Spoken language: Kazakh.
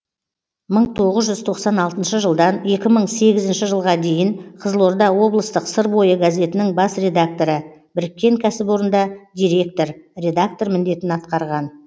мың тоғыз жүз тоқсан алтыншы жылдан екі мың сегізінші жылға дейін қызылорда облыстық сыр бойы газетінің бас редакторы біріккен кәсіпорында директор редактор міндетін атқарған